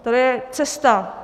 To je cesta.